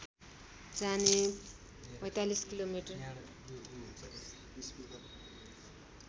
जाने ४५ किलोमिटर